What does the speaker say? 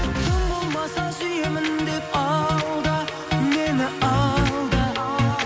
тым болмаса сүйемін деп алда мені алда